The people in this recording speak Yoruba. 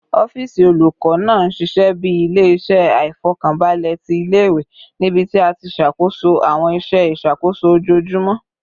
Ọfiisi olukọ naa n ṣiṣẹ bi ile-iṣẹ aifọkanbalẹ ti ile-iwe, nibiti a ti ṣakoso awọn iṣẹ iṣakoso ojoojumọ